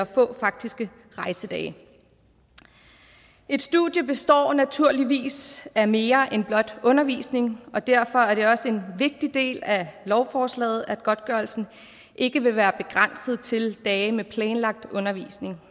få faktiske rejsedage et studie består naturligvis af mere end blot undervisning og derfor er det også en vigtig del af lovforslaget at godtgørelsen ikke vil være begrænset til dage med planlagt undervisning